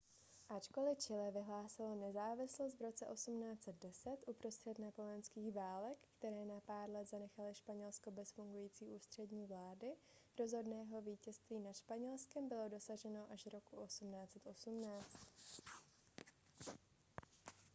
ačkoli chile vyhlásilo nezávislost v roce 1810 uprostřed napoleonských válek které na pár let zanechaly španělsko bez fungující ústřední vlády rozhodného vítězství nad španělskem bylo dosaženo až roku 1818